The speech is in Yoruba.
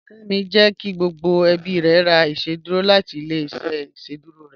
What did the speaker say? Kẹ́mí jẹ́ kí gbogbo ẹ̀bí rẹ̀ rà ìṣẹ̀dúrò láti ilẹ̀-ìṣẹ̀ ìṣẹ̀dúrò rẹ